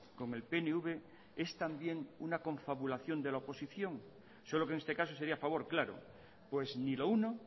con el pnv es también una confabulación de la oposición solo que en este caso sería a favor claro pues ni lo uno